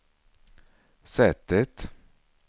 sättet